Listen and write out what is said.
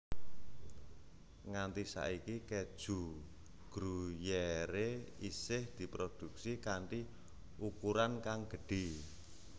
Nganti saiki keju Gruyère isih diproduksi kanti ukuran kang gedhé